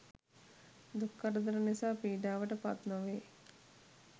දුක් කරදර නිසා පීඩාවට පත් නොවේ